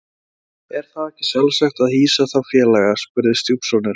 Er þá ekki sjálfsagt að hýsa þá félaga? spurði stjúpsonurinn.